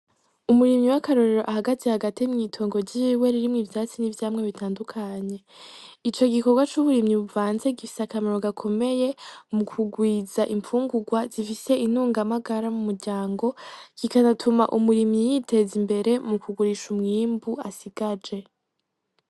Umurimyi w'akarorero ahagaze hagati mw'itongo ryiwe, ririmwo ivyatsi n'ivyamwa bitandukanye. Ico gikorwa c'uburimyi buvanze gifise akamaro gakomeye mu kugwiza imfungurwa zifise intungamagara mu muryango. Kikanatuma umurimyi yiteza imbere, mu kugurisha umwimbu asigaje.